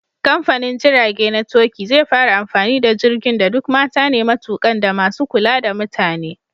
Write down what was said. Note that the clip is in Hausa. Kamfanin jirage na Turkey zai fara amfani da jirgin da duk mata ne matukan da masu kula da mutane.